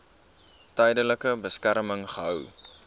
tydelike beskerming gehou